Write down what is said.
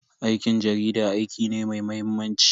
Aikin jarida aiki ne mai mahimmanci.